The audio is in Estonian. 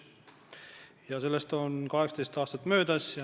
Viimasest korrast on 18 aastat möödas.